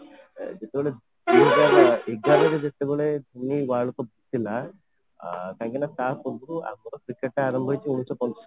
ଯେତେବେଳେ ଏଗାର ରେ ଯେତେବେଳେ World Cup ଥିଲା କାହିଁକି ନା ତା ପୂର୍ବରୁ ଆମର କେତେଟା ଆରମ୍ଭ ହେଇଛି ଉଣେଇଶ ପଞ୍ଚସ୍ତରୀ ରେ